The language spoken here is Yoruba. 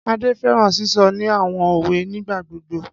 Ade fẹran sisọ ni awọn owe nigbagbogbo.